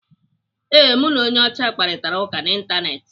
Ee, mụ na onye ọcha kparitara ụka n'Ịntanetị.